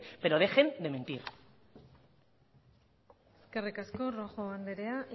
pero dejen de mentir eskerrik asko rojo andrea